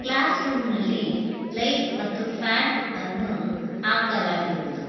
Class ರೂಮಿನಲ್ಲಿ light ಹಾಗೂ fan ಅನ್ನು ಹಾಕಲಾಗಿರುವುದು.